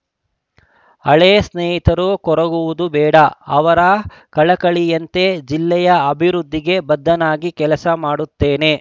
ಹಳೇ ಸ್ನೇಹಿತರು ಕೊರಗುವುದು ಬೇಡ ಅವರ ಕಳಕಳಿಯಂತೆ ಜಿಲ್ಲೆಯ ಅಭಿವೃದ್ಧಿಗೆ ಬದ್ಧನಾಗಿ ಕೆಲಸ ಮಾಡುತ್ತೇನೆ